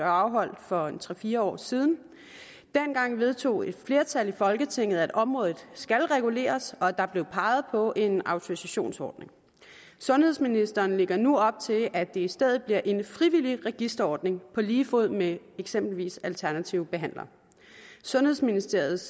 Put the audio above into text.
afholdt for tre fire år siden dengang vedtog et flertal i folketinget at området skal reguleres og der blev peget på en autorisationsordning sundhedsministeren lægger nu op til at det i stedet bliver en frivillig registreringsordning på lige fod med det eksempelvis alternative behandlere sundhedsministeriets